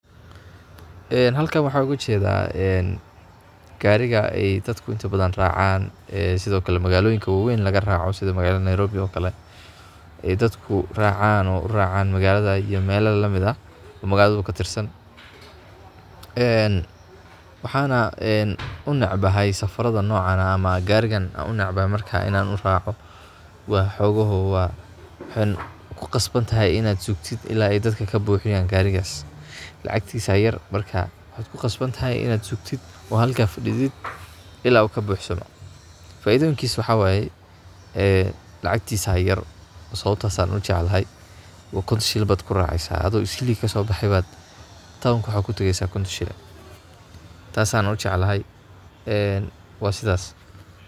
een halkan waxan oga jedaa een gariga ay dadku inta badan racaan ee sidokale magaaloyinka wawaeyn laga raaco sida magaalada Nairobi oo kale ee dadku racaano oo u racaan magaaladu iyo mela lamid ah oo magaaladu katirsan waxaana een unecbahay safarada nocan ah ama garigan unecbahay marka in aan uraaco waa xogoho waa waxaad ku qasbantahay in ad sugtid ila ay dadka kabuuxiyan garigaas, lacagtiis aya yar markas waxad ku qasbantahay inad sugtid ood halkaa fadhidid ila uu kabuxsamo. Faidoyinkiis waxaa wayee ee lacagtiisaa yar sababtaas ayan ujeclahay wa konton shilin bad kuraceysaa, ado isli kasoobaxay bad tawnk waxaad kutageysaa konton shilin. Taas ayan ujeclaahay een waasidaas